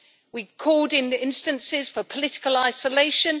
we've called, in instances, for political isolation